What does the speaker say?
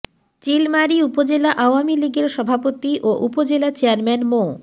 চিলমারী উপজেলা আওয়ামী লীগের সভাপতি ও উপজেলা চেয়ারম্যান মো